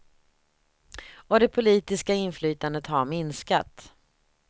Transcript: Och det politiska inflytandet har minskat.